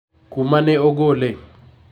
kumane ogole